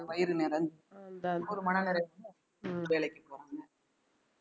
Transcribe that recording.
வயிறு இந்த ஒரு மனநிறைவு வேலைக்குப் போறாங்க